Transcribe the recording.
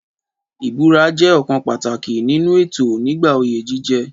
Ìbúra jẹ́ ọ̀kan pàtàkì nínú ètò nígbà oyè jíjẹ.